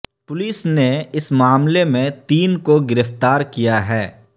police نے اس معاملے میں تین کو گرفتار کیا ہے